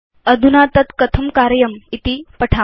अधुना तद् कथं कर्तव्यमिति पश्याम